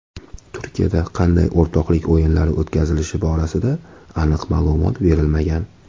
Turkiyada qanday o‘rtoqlik o‘yinlari o‘tkazilishi borasida aniq ma’lumot berilmagan.